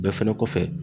Bɛɛ fɛnɛ kɔfɛ